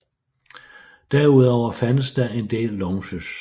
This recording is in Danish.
Derudover fandtes der en del lounges